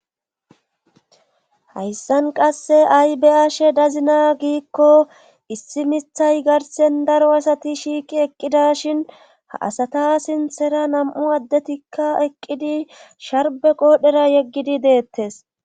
Hayssan qasse aybeyaashe dazina giikko issi mithay garsen daro asati shiiqi eqqida shin ha asata sinthera nam7u addetikka eqqidi sharbe qoodhera yeggidi deettes.